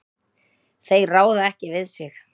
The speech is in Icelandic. Þeir ráða ekki við sig.